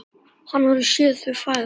Hann hafði séð þau fæðast.